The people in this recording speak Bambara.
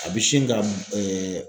A bi sin ka